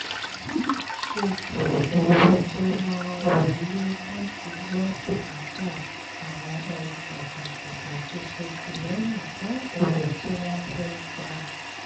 wọ́n máa ṣètò owó tó máa wọlé láti gbọ́ bùkátà àwọn ohun pàtàkì àti ṣètìlẹ́yìn fún ohun tí wọ́n fẹ́ pa